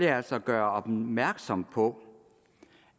jeg altså gøre opmærksom på